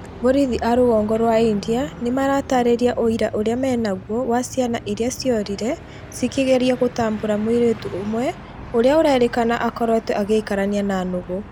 Borithi a rũgongo rwa India nĩmaratarĩria ũira ũria menaguo wa ciana irĩa ciorire cikĩgeria gũtambũra mũirĩtu ũmwe ũrĩa ũrerĩkana akoretwo agĩikarania na nũgũ